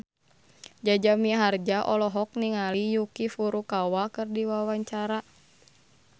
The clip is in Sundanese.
Jaja Mihardja olohok ningali Yuki Furukawa keur diwawancara